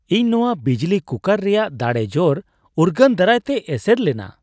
ᱤᱧ ᱱᱚᱶᱟ ᱵᱤᱡᱽᱞᱤ ᱠᱩᱠᱟᱨ ᱨᱮᱭᱟᱜ ᱫᱟᱲᱮᱼᱡᱳᱨ ᱩᱨᱜᱟᱹᱱ ᱫᱟᱨᱟᱭᱛᱮ ᱮᱥᱮᱨ ᱞᱮᱱᱟ ᱾